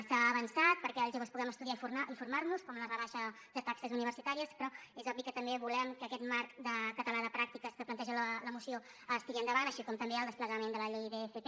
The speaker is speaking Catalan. s’ha avançat perquè els joves puguem estudiar i formar nos com amb la rebaixa de taxes universitàries però és obvi que també volem que aquest marc català de pràctiques que planteja la moció es tiri endavant així com també el desplegament de la llei d’fp